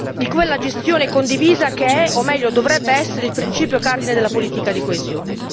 di quella gestione concorrente che è, o meglio dovrebbe essere, il principio cardine della politica di coesione.